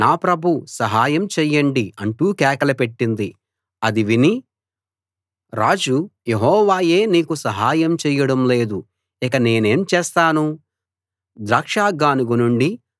అది విని రాజు యెహోవాయే నీకు సహాయం చెయ్యడం లేదు ఇక నేనేం చేస్తాను ద్రాక్ష గానుగ నుండీ ధాన్యపు కళ్ళం నుండీ ఏమన్నా వస్తుందా అన్నాడు